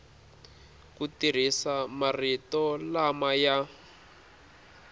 ku tirhisa marito lama ya